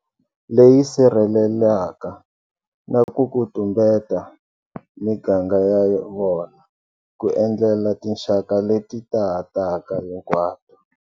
Leyi sirhelelaka na ku ku tumbeta miganga ya vona ku endlela tinxaka leti taha taka hinkwato.